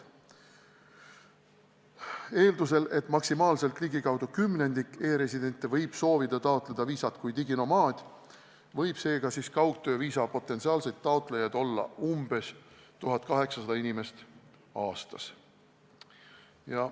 Eeldusel, et maksimaalselt kümnendik e-residentidest soovib taotleda viisat kui diginomaad, võib kaugtööviisa potentsiaalseid taotlejaid olla umbes 1800 inimest aastas.